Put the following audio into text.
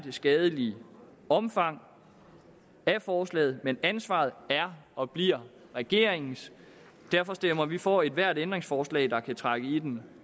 skadelige omfang af forslaget men ansvaret er og bliver regeringens og derfor stemmer vi for ethvert ændringsforslag der kan trække i den